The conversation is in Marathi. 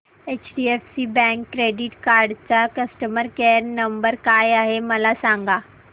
एचडीएफसी बँक क्रेडीट कार्ड चा कस्टमर केयर नंबर काय आहे मला सांगा